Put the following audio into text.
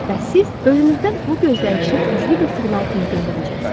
Bəs siz özünüzdən bu gözləyişi güclü bir siqnal kimi göndərəcəksiniz.